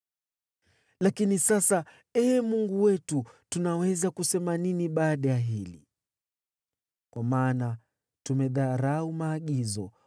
“Lakini sasa, Ee Mungu wetu, tunaweza kusema nini baada ya hili? Kwa maana tumedharau maagizo